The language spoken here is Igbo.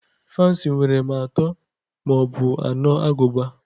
Fans nwere ma atọ ma ọ bụ anọ agụba.